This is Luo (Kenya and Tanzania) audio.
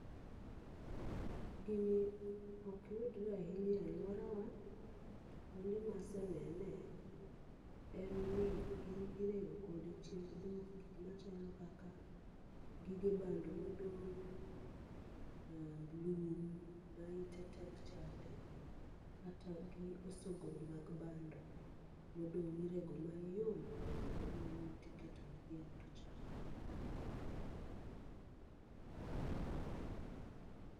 Gini okyudre ahinya e alwora wa, to kuonde masenene en ni irego kode chiemb dhok. Gik machalo kaka gige bando modong', aa lum ma ite tek chande, kata osogro mag bando. Modong' irego mayom, kosereg mayom tiketo ne dhiang' to chamo.